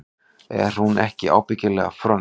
Er hún ekki ábyggilega frönsk?